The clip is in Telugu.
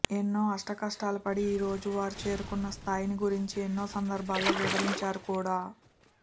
ఎన్నో అష్టకష్టాలు పడి ఈ రోజు వారు చేరుకున్న స్దాయిని గురించి ఎన్నో సందర్భాల్లో వివరించారు కూడా